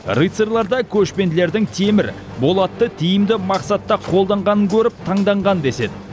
рыцарьлар да көшпенділердің темір болатты тиімді мақсатта қолданғанын көріп таңданған деседі